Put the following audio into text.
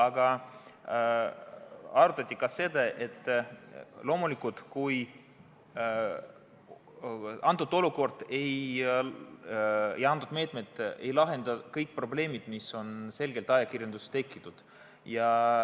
Aga arutati ka seda, et loomulikult, meetmed ei lahenda kõiki probleeme, mis on selgelt ajakirjanduses tekkinud.